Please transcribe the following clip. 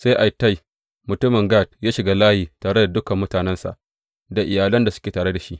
Sai Ittai mutumin Gat ya shiga layi tare da dukan mutanensa da iyalan da suke tare da shi.